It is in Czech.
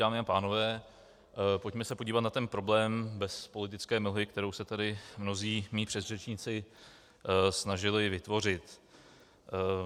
Dámy a pánové, pojďme se podívat na ten problém bez politické mlhy, kterou se tady mnozí mí předřečníci snažili vytvořit.